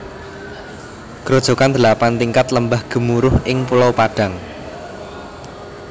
Grojogan Delapan Tingkat Lembah Gemuruh ing Pulau Padang